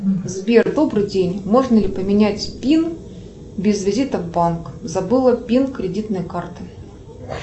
сбер добрый день можно ли поменять пин без визита в банк забыла пин кредитной карты